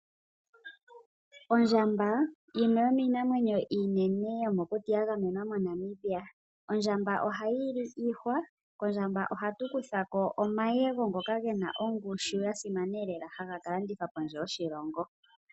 Ondjamba yimwe yomiinamwenyo iinene yomokuti ya gamenwa moNamibia. Ondjamba ohayi li iihwa, kondjamba ohatu kutha ko omayego ngoka gena ongushu ya simana lela haga ka landithwa kondje yoshilongo.